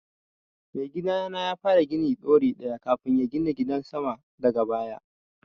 Mai gidana ya fara gini ɗori ɗaya kafun ya gina gidan sama daga baya